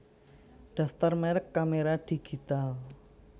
Daftar merek kamera digital